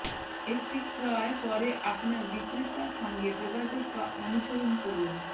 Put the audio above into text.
একটি ক্রয় পরে আপনার বিক্রেতা সঙ্গে যোগাযোগ বা অনুসরণ করুন